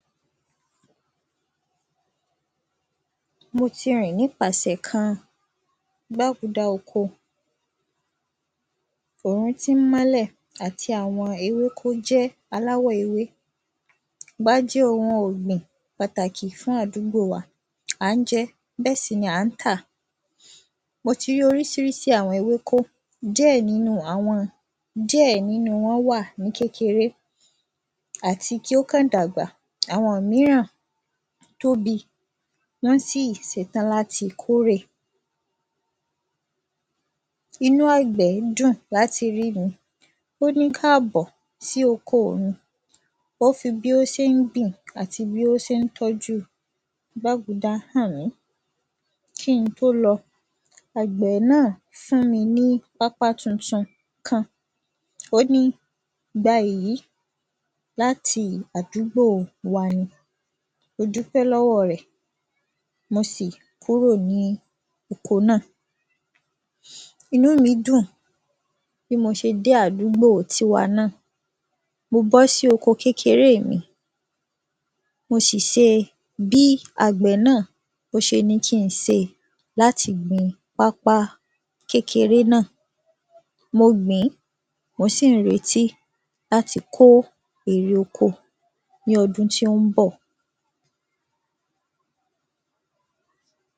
Mō tī rìn nípāsẹ̀ kān ōkō òhūn tí ń málẹ̀ àtī àwọ̄n ēwékō jẹ́ āláwọ̀ ēwé bá jẹ́ ōhūn ọ̀gbìn pàtàkì fún àdúgbò wā à ń jẹ́̄ bẹ́ẹ̀ sì nī à ń tà. Mō tī rí ōríṣīríṣī àwọ̄n ēwékó díẹ̀ nínú àwọ̄n díẹ̀ nínú wọ̄n wà ní kékēré àtī kí ó kàn dàgbà. Àwọ̄n míràn tóbī wọ́n sì sētán látī kórè. Īnú àgbẹ̀ dùn látī rí mī ó ní káàbọ̀ sí ōkō mī ó fī bí ó ṣé ń gbìn àtī bí ó ṣé ń tọ́jú gbágudá hàn mí. Kí n̄ tó lọ̄ àgbẹ̀ náà fún mī ní pápá tūntūn kān ó ní gbā èyí látī àdúgbò wā nī. Mō dúpẹ́ lọ́wọ́ rẹ̀ mō sì kúrò ní ōkō náà. Īnú mī dùn bí mō ṣē dé àdúgbò tīwā náà mō bọ́ sí ōkō kékēré è mī mō sì se bí àgbẹ̀ náà ó sē ní kí n̄ sē látī gbīn pápá kékēré náà. Mō gbìn ín mò sì ń rētí látī kó èrè ōkō ní ọ̄dún tí ó ń bọ̀.